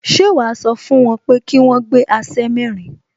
Ṣé wàá sọ fún wọn pé kí wọ́n gbé aṣẹ́ mẹ́rin